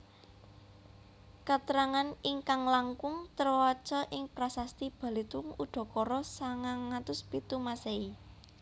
Katrangan ingkang langkung trewaca ing prasasti Balitung udakara sangang atus pitu Masèhi